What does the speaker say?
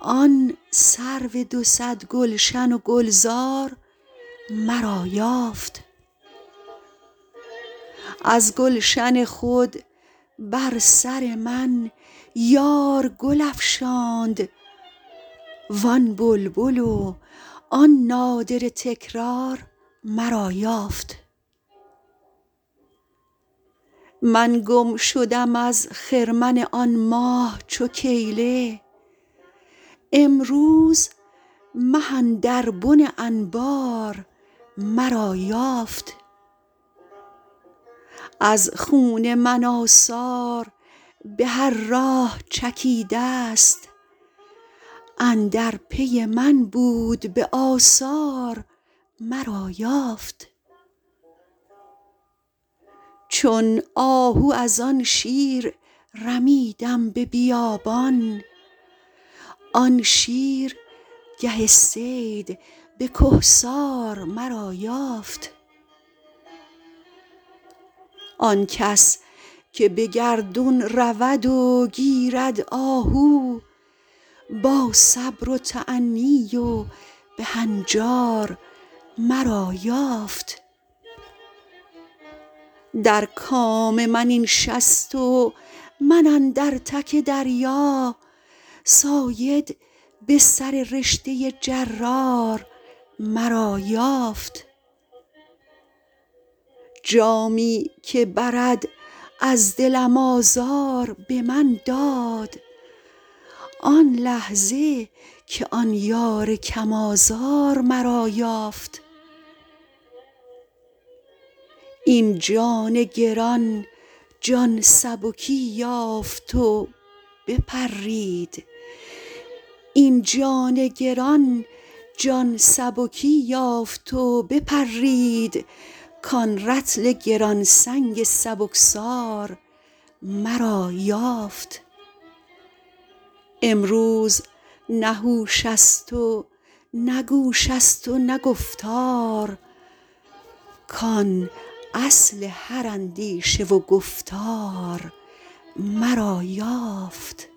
آن سرو دو صد گلشن و گلزار مرا یافت از گلشن خود بر سر من یار گل افشاند وان بلبل وان نادره تکرار مرا یافت من گم شدم از خرمن آن ماه چو کیله امروز مه اندر بن انبار مرا یافت از خون من آثار به هر راه چکیدست اندر پی من بود به آثار مرا یافت چون آهو از آن شیر رمیدم به بیابان آن شیر گه صید به کهسار مرا یافت آن کس که به گردون رود و گیرد آهو با صبر و تأنی و به هنجار مرا یافت در کام من این شست و من اندر تک دریا صاید به سررشته جرار مرا یافت جامی که برد از دلم آزار به من داد آن لحظه که آن یار کم آزار مرا یافت این جان گران جان سبکی یافت و بپرید کان رطل گران سنگ سبکسار مرا یافت امروز نه هوش است و نه گوش است و نه گفتار کان اصل هر اندیشه و گفتار مرا یافت